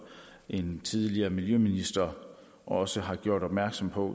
en tidligere miljøminister også har gjort opmærksom på